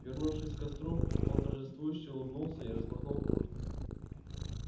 вернувшись к костру он торжествующе улыбнулся и распахнул куртку